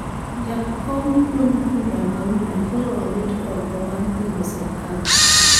Jakom duond bura ma UDA koro owit oko bang` pingo sirkal